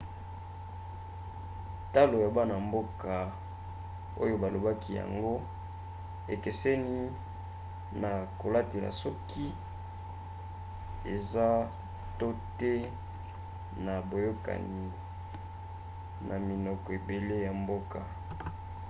talo ya bana-mboka oyo balobaki yango ekeseni na kotalela soki eza to te na boyokani na minoko ebele ya mboka